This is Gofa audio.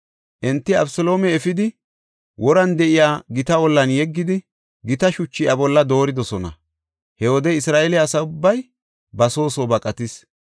Enti Abeseloome efidi woran de7iya gita ollan yeggidi, gita shuchu iya bolla dooridosona. He wode Isra7eele asa ubbay ba soo soo baqatis.